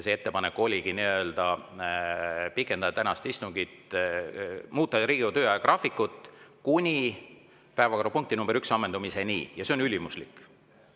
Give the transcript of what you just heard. Ettepanek oligi pikendada tänast istungit, muuta Riigikogu töö ajagraafikut kuni päevakorrapunkti nr 1 ammendumiseni, ja see on ülimuslik.